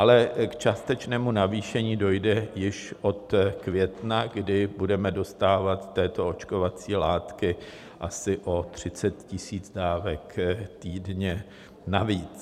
Ale k částečnému navýšení dojde již od května, kdy budeme dostávat této očkovací látky asi o 30 000 dávek týdně navíc.